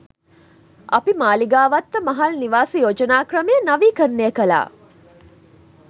අපි මාළිගාවත්ත මහල් නිවාස යෝජනා ක්‍රමය නවීකරණය කළා.